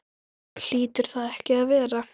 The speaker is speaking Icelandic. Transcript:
Hlýtur það ekki að vera?